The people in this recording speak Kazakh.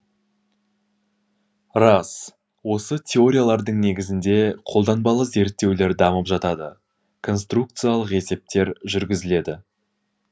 рас осы теориялардың негізінде қолданбалы зерттеулер дамып жатады конструкциялық есептер жүргізіледі